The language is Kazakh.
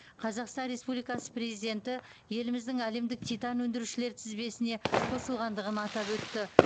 қазақстан республикасы президенті еліміздің әлемдік титан өндірушілер тізбесіне қосылғандығын атап өтті